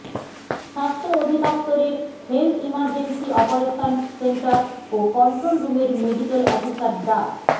স্বাস্থ্য অধিদফতরের health emergency operations centre ও কন্ট্রোল রুমের মেডিকেল অফিসার ডা